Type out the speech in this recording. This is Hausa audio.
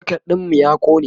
socket ɗinmu ya ƙone